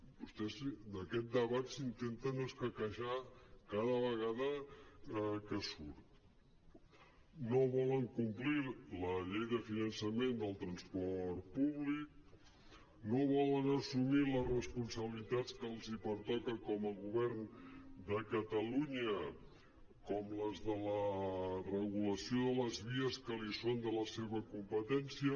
vostès d’aquest debat se n’intenten escaquejar cada vegada que surt no volen complir la llei de finançament del transport públic no volen assumir les responsabilitats que els pertoca com a govern de catalunya com les de la regulació de les vies que són de la seva competència